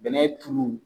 Bɛnɛ tulu